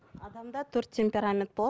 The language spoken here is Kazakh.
адамда төрт темперамент болады